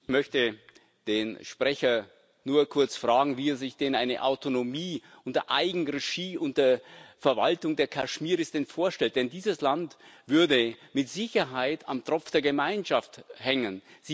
Ich möchte den Sprecher nur kurz fragen, wie er sich denn eine Autonomie unter Eigenregie, unter Verwaltung der Kaschmiris vorstellt, denn dieses Land würde mit Sicherheit am Tropf der Gemeinschaft hängen.